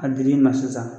A dir'i ma sisan